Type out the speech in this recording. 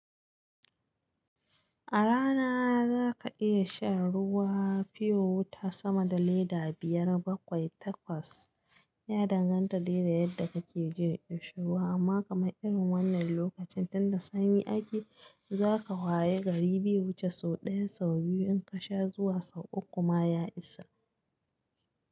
A rana za ka iya shan ruwa fiyo wata sama da leda biyar bakwai takwas. Ya danganta de yadda kake jin kishirwa, amma kamar irin wannan lokacin tunda sanyi ake, za ka haye gari biyu wuce sau ɗaya sau biyu in ka sha zuwa sau uku ma ya isa.